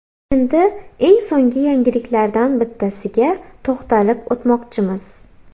Endi eng so‘nggi yangiliklardan bittasiga to‘xtalib o‘tmoqchimiz.